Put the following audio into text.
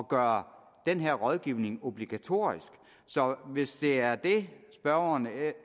gøre den her rådgivning obligatorisk så hvis det er det spørgeren